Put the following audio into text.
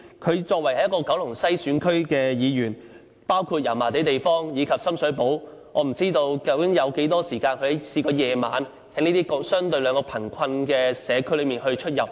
她作為九龍西選區的議員，包括油麻地及深水埗，我不知道她究竟有多少個晚上曾在這兩個相對貧困的社區出入。